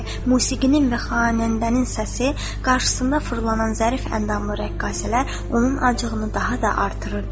Musiqinin və xanəndənin səsi, qarşısında fırlanan zərif əndamlı rəqqasələr onun acığını daha da artırırdı.